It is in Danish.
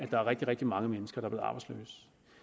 der er rigtig rigtig mange mennesker